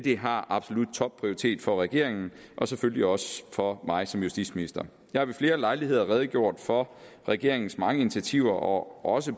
har absolut topprioritet for regeringen og selvfølgelig også for mig som justitsminister jeg har ved flere lejligheder redegjort for regeringens mange initiativer og også